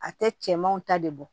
A tɛ cɛmanw ta de bɔ